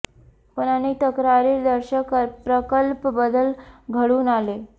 पण अनेक तक्रारी दर्शक प्रकल्प बदल घडून आले